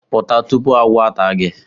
Pụta!, tupu agwọ ata gi